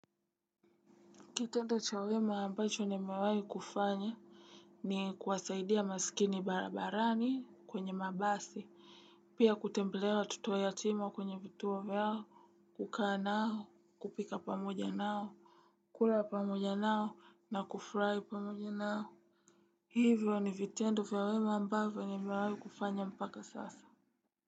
Kitendo cha wema ambacho nimewai kufanya ni kuwasaidia masikini barabarani kwenye mabasi. Pia kutembelea watoto yatima kwenye vituo vyao kukaa nao kupika pamoja nao. Kula pamoja nao na kufrai pamoja nao. Hivyo ni vitendo vya wema ambacho nimewai kufanya mpaka sasa.